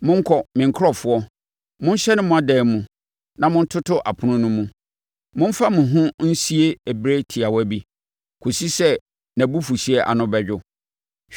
Monkɔ, me nkurɔfoɔ, monhyɛne mo adan mu na montoto apono no mu; momfa mo ho nsie berɛ tiawa bi kɔsi sɛ nʼabufuhyeɛ ano bɛdwo.